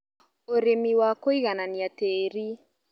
ũrĩmi wa kũiganania tĩri